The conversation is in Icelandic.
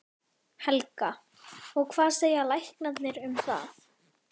Helga: Og hvað segja læknarnir um það?